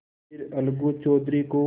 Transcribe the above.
फिर अलगू चौधरी को